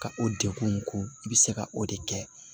Ka o degun in ko i bɛ se ka o de kɛ